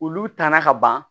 Olu tanan ka ban